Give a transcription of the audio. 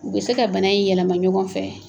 U bi se ka bana in yɛlɛma ɲɔgɔn fɛ.